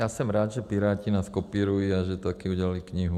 Já jsem rád, že Piráti nás kopírují a že taky udělali knihu.